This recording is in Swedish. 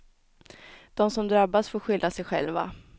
De som drabbas får skylla sig själva.